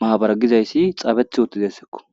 maabara giza issi tsabe'etti uttideseko.